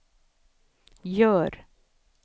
gör